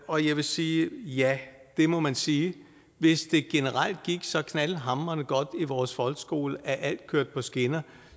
og jeg vil sige ja det må man sige hvis det generelt gik så knaldhamrende godt i vores folkeskole at alt kørte på skinner